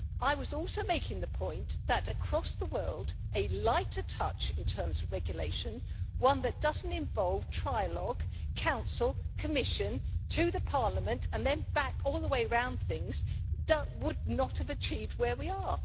I was also making the point that, across the world, a lighter touch in terms of regulation, one that does not involve trilogue Council, Commission to the Parliament and then back all the way round things, would not have achieved where we are.